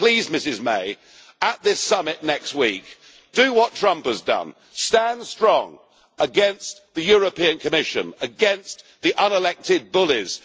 So, please, Ms May, at this summit next week, do what Trump has done stand strong against the European Commission, against the unelected bullies.